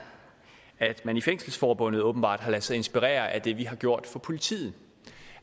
at man i fængselsforbundet åbenbart har ladet sig inspirere af det vi har gjort for politiet